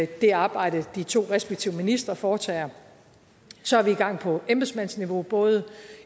det arbejde de to respektive ministre foretager så er vi i gang på embedsmandsniveau både